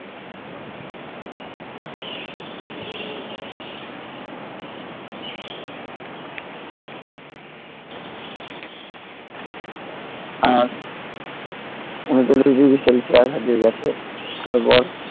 আর উনচল্লিশ degree celsius আজকে গেছে